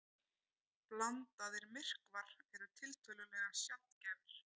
Blandaðir myrkvar eru tiltölulega sjaldgæfir.